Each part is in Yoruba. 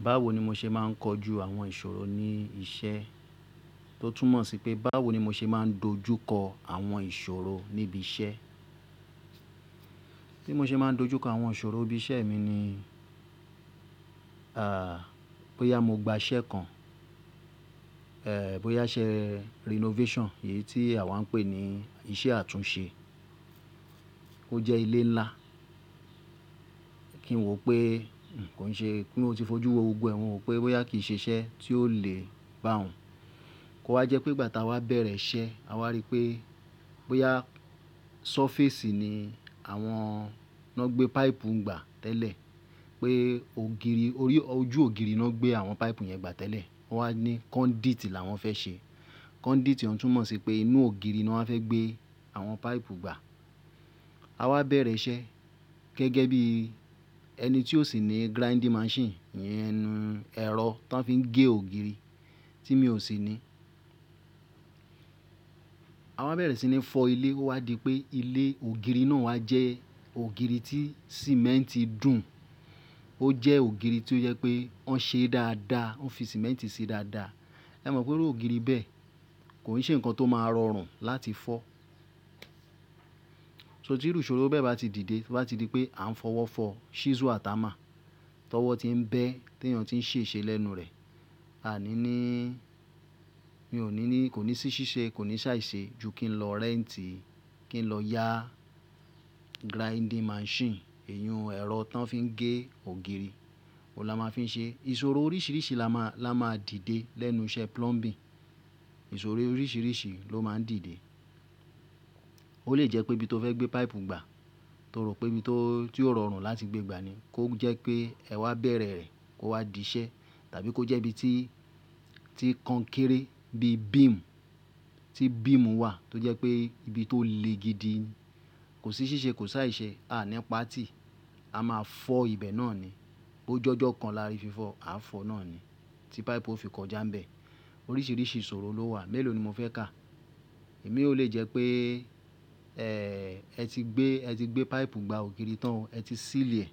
Báwo ni mo ṣe máa ń kojú àwọn ìṣòro ní iṣẹ́, tó túmọ̀ sí pé báwo ni mo ṣe máa ń dojú kọ àwọn ìṣòro níbi iṣẹ́. Bí mo ṣe máa ń dojú kọ àwọn ìṣòro ibi iṣẹ́ mi ni, bóyá mo gba iṣẹ́ kan, bóyá ṣe renovation, èyí tí àwa ń pè ní ìṣe àtúnṣe. Ó jẹ́ ilé ńlá, kí n wò pé kò ń ṣe pé kí ó ti fojú wo gbogbo ẹ̀wọ̀n wò pé bóyá kì í ṣe iṣẹ́ tí ó lè bá òun. Ó wá jẹ́ pé ìgbà tí a bá bẹ̀rẹ̀ iṣẹ́, a wá rí pé bóyá surface ni àwọn, wọ́n gbé pipe gbà tẹ́lẹ̀, pé ògiri, orí, ojú ògiri ni wọ́n gbé àwọn pipe yẹn gbà tẹ́lẹ̀. Wọ́n wá ní conduit là wọ́n fẹ́ ṣe. Conduit, ó tún mọ̀ sí pé inú ògiri ni wọ́n fẹ́ gbé àwọn pipe gbà. A wá bẹ̀rẹ̀ iṣẹ́ gẹ́gẹ́ bí ẹni tí ó sì ní grinding machine, ìyẹn ẹ̀rọ tó fi ń gé ògiri, tí mi ò sì ní. A wá bẹ̀rẹ̀ sí ní fọ́ ilé, ó wá di pé ilé ògiri náà wá jẹ́ ògiri tí sìmẹ́ǹtì dùn. Ó jẹ́ ògiri tí ó jẹ́ pé wọ́n ṣe dáadáa, wọ́n fi sìmẹ́ǹtì sì dáadáa. Ẹ mọ̀ pé irú ògiri bẹ́ẹ̀ kò ní ṣe nǹkan tó máa rọrùn láti fọ́. So tí irú ìṣòro bẹ́ẹ̀ bá ti dìde, tó bá ti di pé à ń fọwọ́ fọ, chisel àti hammer, tọwọ́ ti ń bẹ́, tí èèyàn ti ń ṣe ṣe lẹ́nu rẹ̀. A ní ní, mi ò ní ní, kò ní sí ṣíṣe, kò ní ṣàìṣe ju kí n lọ réǹtì, kí n lọ yá grinding machine, ìyun ẹ̀rọ tó fi ń gé ògiri. Ó lá máa fín ṣe. Ìṣòro oríṣìíríṣìí la máa, la máa dìde lẹ́nu iṣẹ́ plumbing. Ìṣòro oríṣìíríṣìí ló máa ń dìde. Ó lè jẹ́ pé ibi tó fẹ́ gbé pipe gbà, tó rò pé ibi tó, tí ó rọrùn láti gbé gbà ni, kó jẹ́ pé ẹ wá bẹ̀rẹ̀ rẹ̀, kó wá di iṣẹ́. Tàbí kó jẹ́ ibi tí, tí kan kéré bí beam, tí beam wà tó jẹ́ pé ibi tó le gidi ni. Kò sí ṣíṣe, kò sí àìṣe, a ní páàtì, a máa fọ́ ibẹ̀ náà ni. Ó jọ́jọ́ kan láàárin fífọ́, a fọ́ náà ni tí pipe ó fi kọjá ń bẹ. Oríṣìíríṣìí ìṣòro ló wà. Mẹ́lòó ni mo fẹ́ kà? Ẹ̀mí ó lè jẹ́ pé, e, ẹ ti gbé, ẹ ti gbé pipe gba ògiri tán, ẹ ti seal ẹ,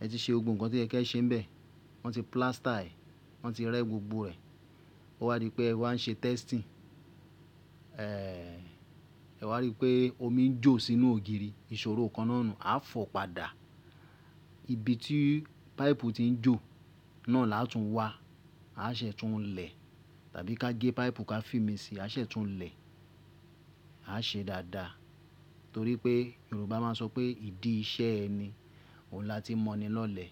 ẹ ti ṣe gbogbo nǹkan tó yẹ́ kí ẹ ṣe ń bẹ. Wọ́n ti plaster è, wọ́n ti rẹ́ gbogbo rẹ̀. Ó wá di pé ẹ wá ń ṣe testing, e, ẹ wá rí pé omi ń jò sínú ògiri. Ìṣòro kan náà ni, a fọ̀ padà. Ibi tí pipe ti ń jò náà láàtún wá, a ṣẹ̀ tún un lẹ̀. Tàbí ká gẹ́ pipe, ká fi míì sí i, a ṣẹ̀ tún un lẹ̀. A ṣe dáadáa. Nítorí pé Yorùbá máa ń sọ pé ìdí iṣẹ́ ẹni, òun láti ń mọ́ ni lọ́lẹ̀.